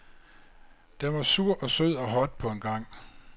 Den var sur og sød og hot på en gang.